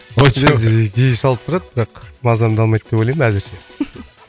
ой жоқ жиі шалып тұрады бірақ мазамды алмайды деп ойлаймын әзірше